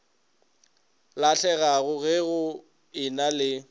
lahlegago ge go ena le